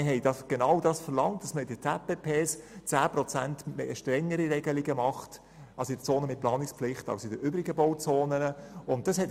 Wir haben genau das verlangt, nämlich dass gegenüber den übrigen Bauzonen in den Zonen mit Planungspflicht ZPP die Regelungen um 10 Prozent verschärft werden.